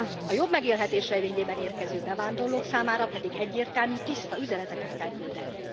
A jobb megélhetés reményében érkező bevándorlók számára pedig egyértelmű, tiszta üzeneteket kell küldeni.